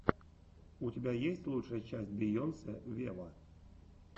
у тебя есть лучшая часть бейонсе вево